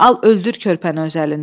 Al öldür körpəni öz əlindən.